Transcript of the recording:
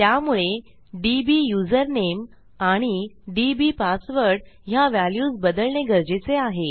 त्यामुळे डिब्युझरनेम आणि डीबीपासवर्ड ह्या व्हॅल्यूज बदलणे गरजेचे आहे